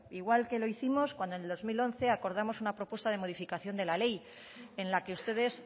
igual que lo hicimos cuando en el dos mil uno acordamos una propuesta de modificación de la ley en la que ustedes